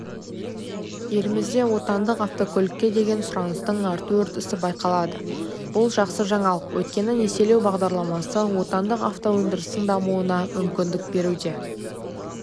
елімізде отандық автокөлікке деген сұраныстың арту үрдісі байқалады бұл жақсы жаңалық өйткені несиелеу бағдарламасы отандық автөндірістің дамуына мүмкіндік беруде